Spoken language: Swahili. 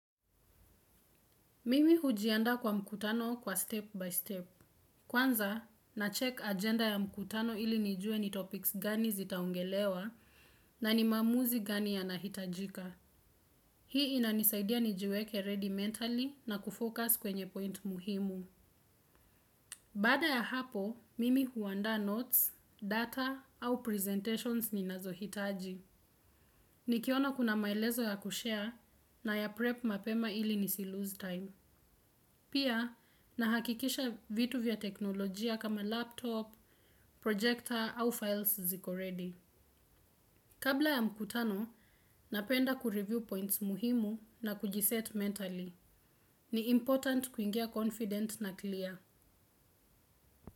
Mimi hujiandaa kwa mkutano kwa step by step. Kwanza, nacheck agenda ya mkutano ili nijue ni topics gani zitaongelewa na ni maamuzi gani yanahitajika. Hii inanisaidia nijiweke ready mentally na kufocus kwenye point muhimu. Baada ya hapo, mimi huandaa notes, data au presentations ninazohitaji. Nikiona kuna maelezo ya kushare nayaprep mapema ili nisilose time. Pia, nahakikisha vitu vya teknolojia kama laptop, projector au files ziko ready. Kabla ya mkutano, napenda kureview points muhimu na kujiset mentally. Ni important kuingia confident na clear.